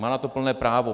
Má na to plné právo.